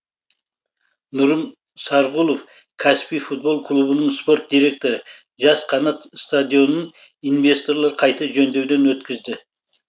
нұрым сарғұлов каспий футбол клубының спорт директоры жас қанат стадионын инвесторлар қайта жөндеуден өткізді